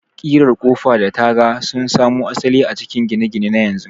ƙirar Ƙofa da taga sun samo asali a cikin gine-gine na yanzu.